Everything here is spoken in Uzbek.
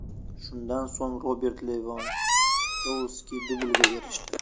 Shundan so‘ng Robert Levandovski dublga erishdi.